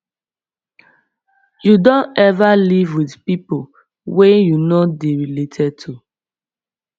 you don ever live with people wey you no dey related to